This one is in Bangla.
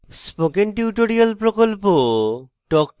spoken tutorial প্রকল্প talk to a teacher প্রকল্পের অংশবিশেষ